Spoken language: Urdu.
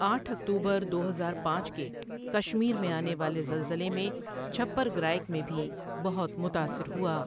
آٹھ اکتوبر دو ہزار پانچ کے کشمیر میں آنے والے زلزلے میں چھپرگرایک میں ٻھی بہت متاثرہوا۔